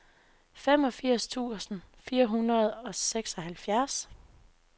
femogfirs tusind fire hundrede og seksoghalvfjerds